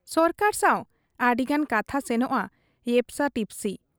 ᱥᱚᱨᱠᱟᱨ ᱥᱟᱶ ᱟᱹᱰᱤᱜᱟᱱ ᱠᱟᱛᱷᱟ ᱥᱮᱱᱚᱜ ᱟ ᱭᱮᱯᱥᱟ ᱴᱤᱯᱥᱤ ᱾